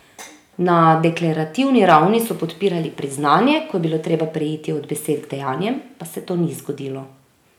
Na deklerativni ravni so podpirali priznanje, ko je bilo treba preiti od besed k dejanjem, pa se to ni zgodilo.